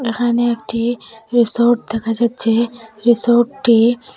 এখানে একটি রিসোর্ট দেখা যাচ্ছে রিসোর্টটি--